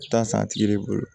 Taa san tigi de bolo